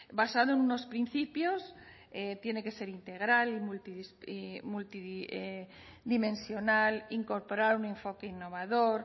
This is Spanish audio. basado en unos principios tiene que ser integral multidimensional incorporar un enfoque innovador